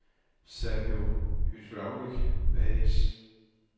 Sawo Hydraulic A/S